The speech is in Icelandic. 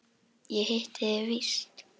Ég hitti þig víst!